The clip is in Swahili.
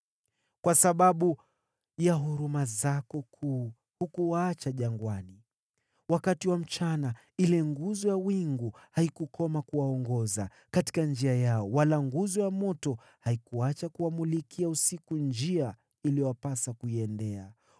“Kwa sababu ya huruma zako kuu hukuwaacha jangwani. Wakati wa mchana ile nguzo ya wingu haikukoma kuwaongoza katika njia yao, wala nguzo ya moto haikuacha kuwamulikia usiku njia iliyowapasa kuiendea.